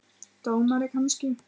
Dómari kannski?